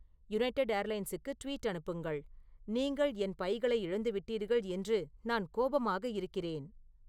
United ஏர்லைன்ஸுக்கு tweet அனுப்புங்கள் நீங்கள் என் பைகளை இழந்துவிட்டீர்கள் என்று நான் கோபமாக இருக்கிறேன்